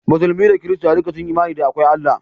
Musulmi da Kirista duka sun yi imani da akwai Allah